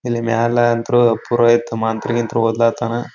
ಇಲ್ಲಿ ಮ್ಯಾಲೆ ಅಂತ್ರು ಪುರೋಹಿತ ಮಂತ್ರ ಗಿಂತ್ರ ಓದ್ಲಾತ್ತನ .